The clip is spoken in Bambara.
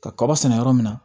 Ka kaba sɛnɛ yɔrɔ min na